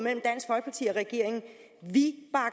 regeringen